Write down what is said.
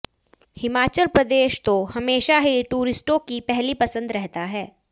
हिमाचल प्रदेश तो हमेशा ही टूरिस्टों की पहली पसंद रहा है